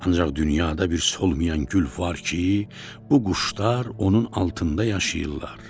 Ancaq dünyada bir solmayan gül var ki, bu quşlar onun altında yaşayırlar.